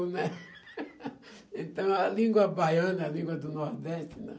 Então, a língua baiana, a língua do Nordeste, né?